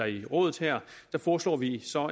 i rådet foreslår vi så